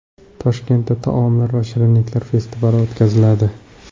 Toshkentda taomlar va shirinliklar festivali o‘tkaziladi .